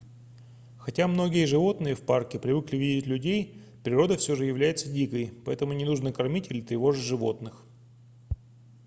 хотя многие животные в парке привыкли видеть людей природа все же является дикой поэтому не нужно кормить или тревожить животных